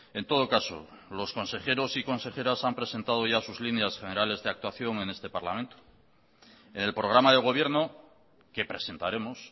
en todo caso los consejeros y consejeras han presentado ya sus líneas generales de actuación en este parlamento en el programa de gobierno que presentaremos